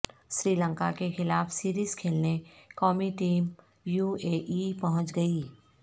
سری لنکا کے خلاف سیریز کھیلنے قومی ٹیم یو اے ای پہنچ گئی